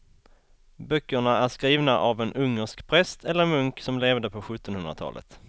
Böckerna är skrivna av en ungersk präst eller munk som levde på sjuttonhundratalet.